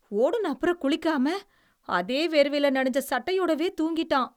ஓடுன அப்புறம், குளிக்காம அதே வேர்வையில நனைஞ்ச சட்டையோடவே தூங்கிட்டான்.